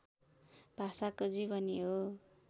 भाषाको जीवनी हो